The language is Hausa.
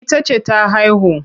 Ita ce ta haihu.